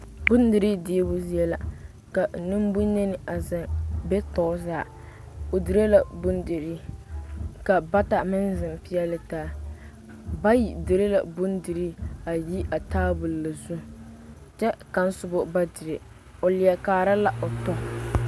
Bondirii diibo zie ka nembonyeni a zeŋ be tɔɔre zaa o dire la bondirii ka bata meŋ zeŋ peɛle taa bayi dire la bondirii a yi a taabol na zu kyɛ kaŋ soba ba dire o leɛ kaara la o tɔ